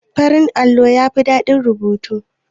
Farin allo yafi daɗin rubutu.